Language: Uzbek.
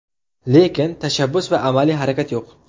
Lekin, tashabbus va amaliy harakat yo‘q.